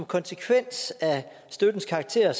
konsekvens af støttens karakter